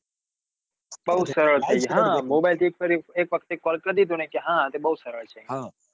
Mobile એક call કરી દીધો ને કે હા બૌ સરળ છે.